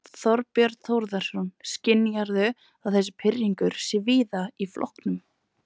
Þorbjörn Þórðarson: Skynjarðu að þessi pirringur sé víða í flokknum?